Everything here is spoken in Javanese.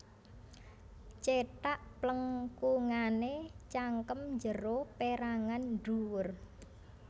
Cethak plengkungané cangkem njero pérangan ndhuwur